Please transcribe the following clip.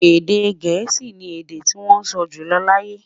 Èdè gèésì ní èdè tí wón sọ jùlọ láyé